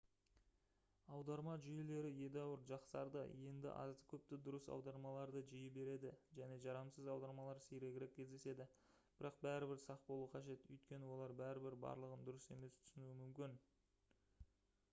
аударма жүйелері едәуір жақсарды енді азды-көпті дұрыс аудармаларды жиі береді және жарамсыз аудармалар сирегірек кездеседі бірақ бәрібір сақ болу қажет өйткені олар бәрібір барлығын дұрыс емес түсінуі мүмкін